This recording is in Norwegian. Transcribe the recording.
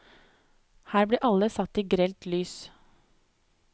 Her blir alle satt i grelt lys.